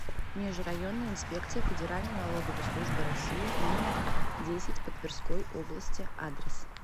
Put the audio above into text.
межрайонная инспекция федеральной налоговой службы россии номер десять по тверской области адрес